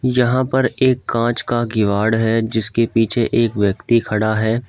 यहां पर एक कांच का किवाड़ है जिसके पीछे एक व्यक्ति खड़ा है।